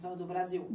São do Brasil.